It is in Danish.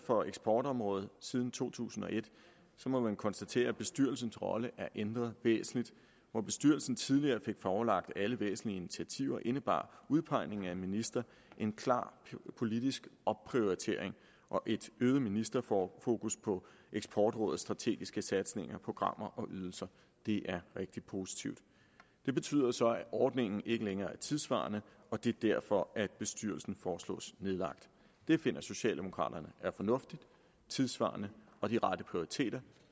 for eksportområdet siden to tusind og et må man konstatere at bestyrelsens rolle er ændret væsentligt hvor bestyrelsen tidligere fik forelagt alle væsentlige initiativer indebar udpegningen af en minister en klar politisk opprioritering og et øget ministerfokus på eksportrådets strategiske satsninger programmer og ydelser det er rigtig positivt det betyder så at ordningen ikke længere er tidssvarende og det er derfor at bestyrelsen foreslås nedlagt det finder socialdemokraterne er fornuftigt tidssvarende og den rette prioritering